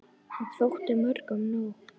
Og þótti mörgum nóg.